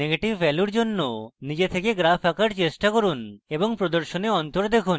negative ভ্যালুর জন্য নিজে থেকে graphs আঁকার চেষ্টা করুন এবং প্রদর্শনে অন্তর দেখুন